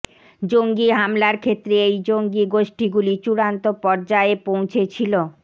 জঙ্গী হামলার ক্ষেত্রে এই জঙ্গী গোষ্ঠীগুলি চূড়ান্ত পর্যায়ে পৌঁছেছিল